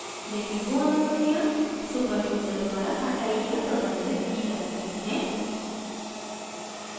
लेकिन वो अनुमतियाँ super यूज़र द्वारा हटाई या प्रबंधित की जा सकती हैं